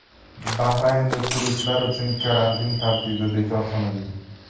Bahraynda turistlar uchun karantin tartibi bekor qilindi.